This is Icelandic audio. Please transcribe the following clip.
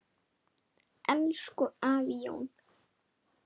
Elsku afi Jón.